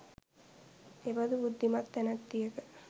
එබඳු බුද්ධිමත් තැනැත්තියක